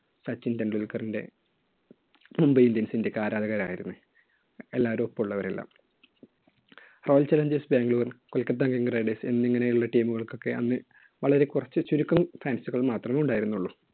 സച്ചിൻ ടെണ്ടുൽക്കറിന്‍റെ mumbai indians ന്‍റെയൊക്കെ ആരാധകരായിരുന്നു. എല്ലാവരും, ഒപ്പമുള്ളവരെല്ലാം. royal challengers bangalore, kolkota king riders എന്നിങ്ങനെയുള്ള team കൾക്കൊക്കെ അന്ന് വളരെ കുറച്ച്, ചുരുക്കം fans കൾ മാത്രമേ ഉണ്ടായിരുന്നുള്ളൂ.